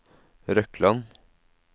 Røkland